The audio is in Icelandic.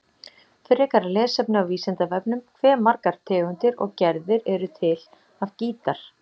Frekara lesefni á Vísindavefnum: Hve margar tegundir og gerðir eru til af gítar?